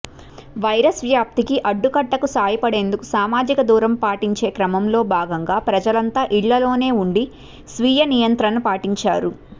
virus వ్యాప్తికి అడ్డుకట్టకు సాయపడేందుకు సామాజిక దూరం పాటించే క్రమంలో భాగంగా ప్రజలంతా ఇళ్లలోనే ఉండి స్వీయ నియంత్రణ పాటించారు